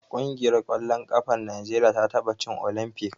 Ƙungiyar ƙwallon ƙafar Najeriya ta taɓa cin Olimfik.